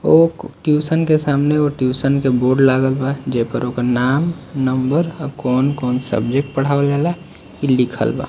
ओ tuition के सामने tuition के बोर्ड लागल बा जे पर ओकर नाम नंबर और कौन-कौन सब्जेक्ट पढ़ावल जाला इ लिखल बा।